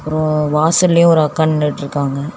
ம் வாசல்லயே ஒரு அக்கா நின்னுட்ருக்காங்க.